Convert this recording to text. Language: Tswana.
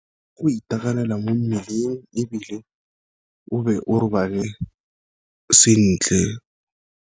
Go itekanela mo mmeleng, ebile o be o robale sentle.